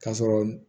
K'a sɔrɔ